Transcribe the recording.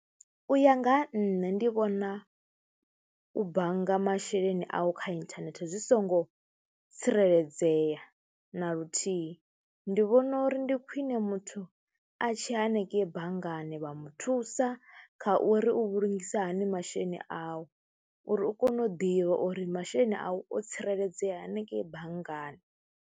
U ya nga ha nṋe ndi vhona u bannga masheleni au kha inthanethe zwi songo tsireledzea na luthihi, ndi vhona uri ndi khwiṋe muthu u a tshi ya hanengeyi banngani vha muthusa kha uri u vhulungiswa hani masheleni awu uri u kone u ḓivha uri masheleni awu o tsireledzea hanengeyi banngani.